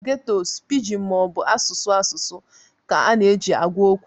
Na ghettos pidgin ma ọ bụ asụsụ asụsụ ka a na-eji agwa okwu.